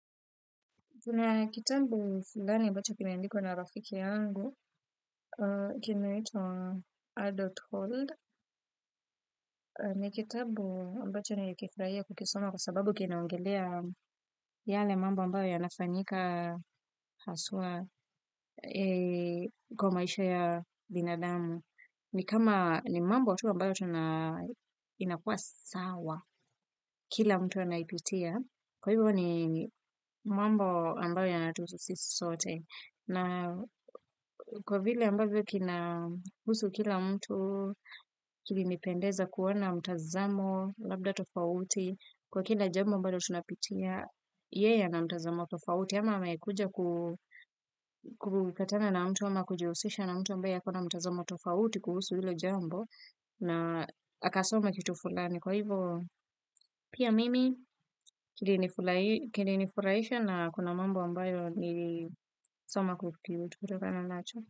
Kuna kitabu fulani ambacho kimeandikwa na rafiki yangu, kinaitwa Adult hood, ni kitabu ambacho nilikifurahia kukisoma kwa sababu kinaongelea yale mambo ambayo yanafanyika haswa kwa maisha ya binadamu. Ni kama ni mambo tu ambayo tuna inakua sawa kila mtu anaipitia. Kwa hivyo ni mambo ambayo yanatuhusu sisi sote. Na kwa vile ambavyo kina kuhusu kila mtu kilinipendeza kuona mtazamo labda tofauti kwa kila jambo ambalo tunapitia. Yeye ana mtazamo tofauti ama amekuja kupatana na mtu ama kujihusisha na mtu ambaye ako na mtazamo tofauti kuhusu hilo jambo na akasoma kitu fulani kwa hivo. Pia mimi kilinifurahisha na kuna mambo ambayo nilisoma kutokana nacho.